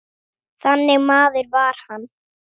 Þannig maður var hann.